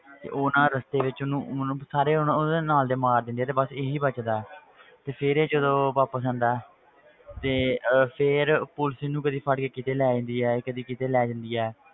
ਤੇ ਉਹ ਨਾ ਰਸਤੇ ਵਿੱਚ ਉਹਨੂੰ ਉਹਨੂੰ ਸਾਰੇ ਹੁਣ ਉਹਦੇ ਨਾਲ ਦੇ ਮਾਰ ਦਿੰਦੇ ਆ ਤੇ ਬਸ ਇਹੀ ਬਚਦਾ ਹੈ ਤੇ ਫਿਰ ਇਹ ਜਦੋਂ ਵਾਪਸ ਜਾਂਦਾ ਹੈ ਤੇ ਅਹ ਫਿਰ ਪੁਲਿਸ ਇਹਨੂੰ ਕਦੇ ਫੜ ਕੇ ਕਿਤੇ ਲੈ ਜਾਂਦੀ ਹੈ ਕਦੇ ਕਿਤੇ ਲੈ ਜਾਂਦੀ ਹੈ,